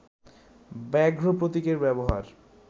ব্যাঘ্র প্রতীকের ব্যবহার